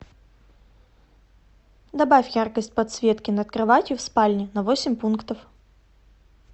добавь яркость подсветки над кроватью в спальне на восемь пунктов